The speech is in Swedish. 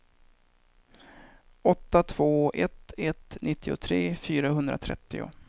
åtta två ett ett nittiotre fyrahundratrettio